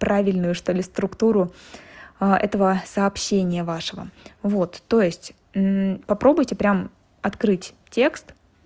правильную что-ли структуру этого сообщения вашего вот то есть попробуйте прямо открыть текст